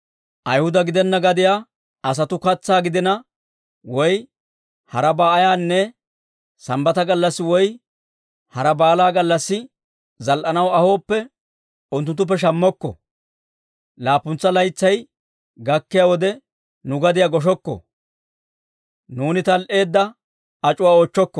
«Ayhuda gidenna gadiyaa asatuu katsaa gidina woy harabaa ayaanne Sambbata gallassi woy hara baala gallassi zal"anaw ahooppe, unttunttuppe shammokko. «Laappuntsa laytsay gakkiyaa wode, nu gadiyaa goshokko; nuuni tal"eedda ac'uwaa oochchokko.